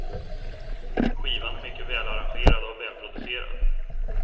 Skivan är mycket välarrangerad och välproducerad.